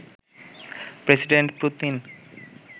president Putin